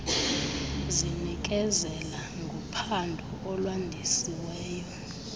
zinikezela ngophando olwandisiweyo